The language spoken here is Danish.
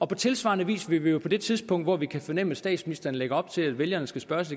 på tilsvarende vis vil vi jo på det tidspunkt hvor vi kan fornemme at statsministeren lægger op til at vælgerne skal spørges